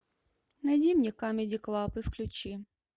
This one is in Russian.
найди мне камеди клаб и включи